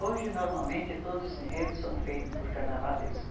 Hoje, normalmente, todos os enredos são feitos por carnavalesco.